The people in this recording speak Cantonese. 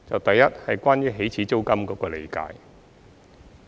第一是關於起始租金的理解。